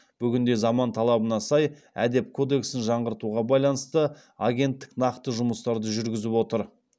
бүгінде заман талабына сай әдеп кодексін жаңғыртуға байланысты агенттік нақты жұмыстарды жүргізіп отыр